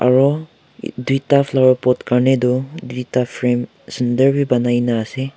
aro tuita flowerpot karnetoh tuita frame sundorbeh ponaikina ase.